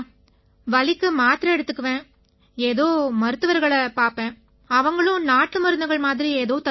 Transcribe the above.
வலிக்கு மாத்திரை எடுத்துக்குவேன் ஏதோ மருத்துவரகளை பார்ப்பேன் அவங்களும் நாட்டுமருந்துகள் மாதிரி ஏதோ தருவாங்க